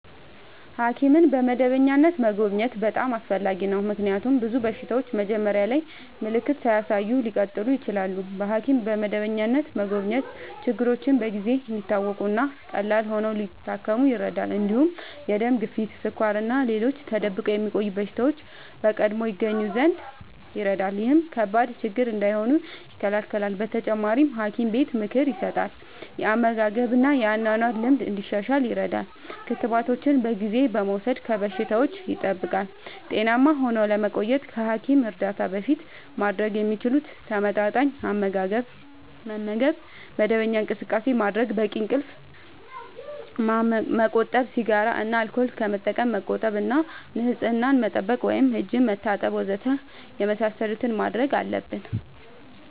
ሐኪምን በመደበኛነት መጎብኘት በጣም አስፈላጊ ነው፤ ምክንያቱም ብዙ በሽታዎች መጀመሪያ ላይ ምልክት ሳያሳዩ ሊቀጥሉ ይችላሉ። በሐኪም በመደበኛነት መጎብኘት ችግሮች በጊዜ እንዲታወቁ እና ቀላል ሆነው ሊታከሙ ይረዳል። እንዲሁም የደም ግፊት፣ ስኳር እና ሌሎች ተደብቆ የሚቆዩ በሽታዎች በቀድሞ ይገኙ ዘንድ ይረዳል። ይህም ከባድ ችግር እንዳይሆኑ ይከላከላል። በተጨማሪ፣ ሐኪም ጤና ምክር ይሰጣል፣ የአመጋገብ እና የአኗኗር ልምድ እንዲሻሻል ይረዳል። ክትባቶችን በጊዜ በመውሰድ ከበሽታዎች ይጠብቃል። ጤናማ ሆነው ለመቆየት ከሐኪም እርዳታ በፊት ማድረግ የሚችሉት፦ ተመጣጣኝ አመጋገብ መመገብ፣ መደበኛ እንቅስቃሴ ማድረግ፣ በቂ እንቅልፍ ማመቆጠብ፣ ሲጋራ እና አልኮል ከመጠቀም መቆጠብ እና ንጽህና መጠበቅ (እጅ መታጠብ ወዘተ) የመሳሰሉትን ማድረግ አለብን።